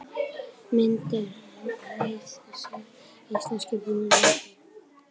Mynd: Hið íslenska Biblíufélag